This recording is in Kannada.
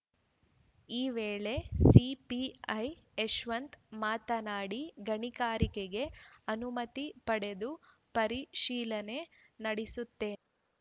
ಈ ವೇಳೆ ಸಿಪಿಐ ಯಶವಂತ್‌ ಮಾತನಾಡಿ ಗಣಿಗಾರಿಕೆಗೆ ಅನುಮತಿ ಪಡೆದು ಪರಿಶೀಲನೆ ನಡೆಸುತ್ತೇನೆ